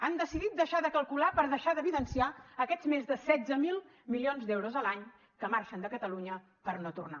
han decidit deixar de calcular per deixar d’evidenciar aquests més de setze mil milions d’euros a l’any que marxen de catalunya per no tornar